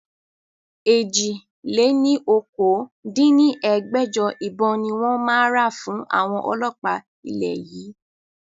èjì-lé-ní-okòó dín ní ẹgbẹ́jọ ìbọn ni wọn máa ra fún àwọn ọlọ́pa ilẹ̀ yìí